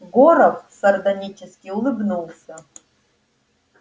горов сардонически улыбнулся